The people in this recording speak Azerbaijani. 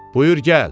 Buyur gəl.